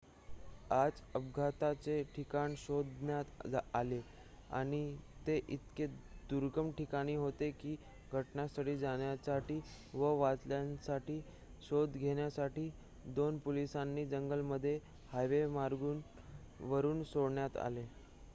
आज अपघाताचे ठिकाण शोधण्यात आले आणि ते इतके दुर्गम ठिकाणी होते की घटनास्थळी जाण्यासाठी व वाचलेल्यांचा शोध घेण्यासाठी 2 पोलिसांना जंगलामध्ये हवाईमार्गाने वरून सोडण्यात आले